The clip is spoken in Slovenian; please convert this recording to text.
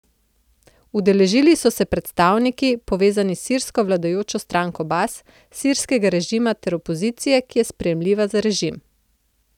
Udeležili so se je predstavniki, povezani s sirsko vladajočo stranko Bas, sirskega režima ter opozicije, ki je sprejemljiva za režim.